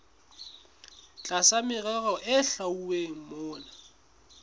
tlasa merero e hlwauweng mona